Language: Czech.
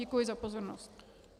Děkuji za pozornost.